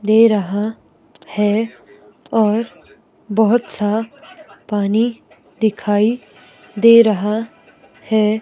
दे रहा है और बहुत सा पानी दिखाई दे रहा है।